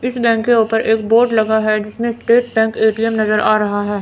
इस बैंक के ऊपर एक बोर्ड लगा है जिसमें स्टेट बैंक ए_टी_एम नजर आ रहा है।